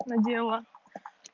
надела